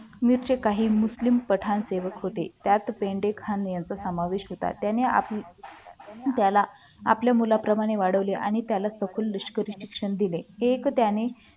काही पठाण सेवक होते त्यात पेंडेखाणे यांचा समावेश होता त्याने आपल्याला आपल्या मुलाप्रमाणे वाढवले आणि त्याला सखोल निष्कर्ष शिक्षण दिले एक त्याने